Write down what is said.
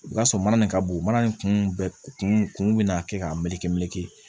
I b'a sɔrɔ mana nin ka bon mana nin kun bɛɛ kun bɛ n'a kɛ k'a meleke meleke